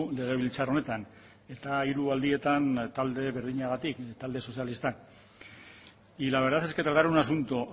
legebiltzar honetan eta hiru aldietan talde berdinagatik talde sozialistak y la verdad es que tratar un asunto